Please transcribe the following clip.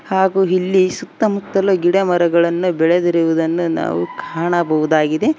ಹಾಗೂ ಇಲ್ಲಿ ಸುತ್ತಮುತ್ತಲು ಗಿಡ ಮರಗಳನ್ನು ಬೆಳೆದಿರುವುದನ್ನು ನಾವು ಕಾಣಬಹುದಾಗಿದೆ.